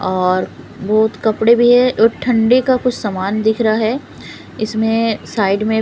और बहुत कपड़े भी है और ठंडे का कुछ समान दिख रहा है इसमें साइड में--